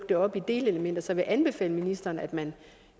det op i delelementer så jeg vil anbefale ministeren at man